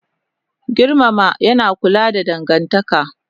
Girmama yana kula da dangantaka